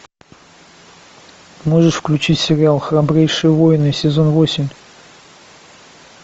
можешь включить сериал храбрейшие воины сезон восемь